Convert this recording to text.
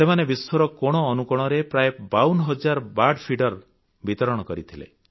ସେମାନେ ବିଶ୍ୱର କୋଣ ଅନୁକୋଣରେ ପ୍ରାୟ 52 ହଜାର ବର୍ଡ ଫିଡର ବିତରଣ କରିଥିଲେ